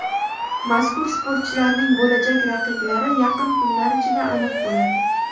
Mazkur sportchilarning bo‘lajak raqiblari yaqin kunlar ichida aniq bo‘ladi.